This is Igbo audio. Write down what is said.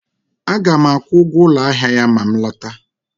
Aga m akwụ ụgwọ ụlọ ahịa ya ma m lọta